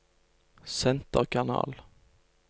senterkanal